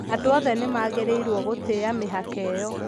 Andũ othe nĩ magĩrĩirũo gũtĩa mĩhaka ĩyo.